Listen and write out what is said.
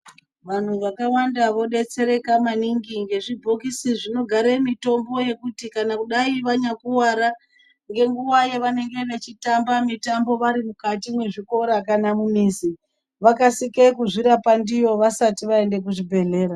Vantu vakawanda vobetsereka maningi ngezvibhokisi zvinogare mitombo yekuti kana kudai vanyakuvara ngenguva yavanenge vachitamba mitambo vari mukati mwezvikora kana mumizi .Vakasike kuzvirapa ndiyo vasati vaende kuzvibhedhlera.